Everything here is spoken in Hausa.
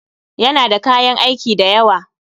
Yana da kayan aiki dayawa